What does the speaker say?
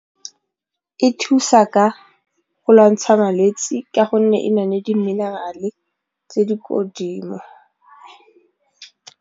E thusa ka go lwantsha malwetse ka gonne e na le di-mineral-e tse di ko godimo.